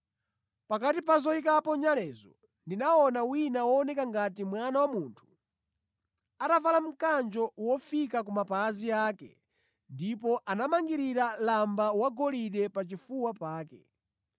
Pakati pa zoyikapo nyalezo ndinaona wina wooneka ngati Mwana wa Munthu atavala mkanjo wofika kumapazi ake ndipo anamangirira lamba wagolide pa chifuwa pake.